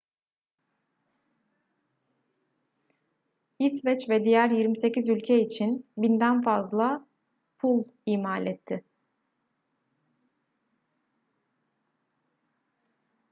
i̇sveç ve diğer 28 ülke için 1.000'den fazla pul imal etti